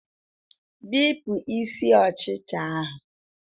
Bipụ isi ọchịcha ahụ